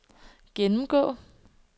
gennemgå